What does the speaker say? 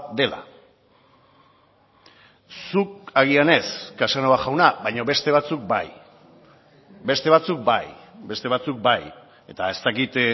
dela zuk agian ez casanova jauna baina beste batzuk bai beste batzuk bai beste batzuk bai eta ez dakit